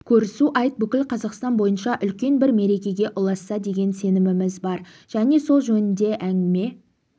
көрісу айт бүкіл қазақстан бойынша үлкен бір мерекеге ұласса деген сеніміміз бар және сол жөнінде әңгіме